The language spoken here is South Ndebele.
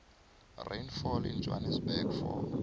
rainfall in johannesburg for